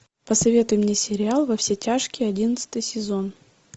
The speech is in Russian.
посоветуй мне сериал во все тяжкие одиннадцатый сезон